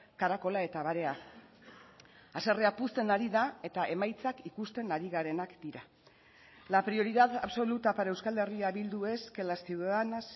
karakola eta barea haserrea puzten ari da eta emaitzak ikusten ari garenak dira la prioridad absoluta para euskal herria bildu es que las ciudadanas